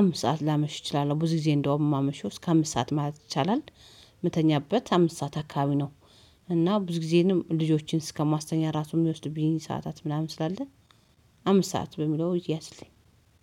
አምስት ሰዓት ላመሽ እችላለሁ ብዙ ጊዜ እንደውም እማመሽው እስከ አምስት ማለት ይቻላል። የምተኛበት አምስት ሰዓት አካባቢ ነው። እና ብዙ ጊዜንም ልጆችን እስከማስተኛ ራሱን የሚወስድብኝ ሰዓታት ምናምን ስላለ። አምስት ሰዓት በሚለው ይያዝልኝ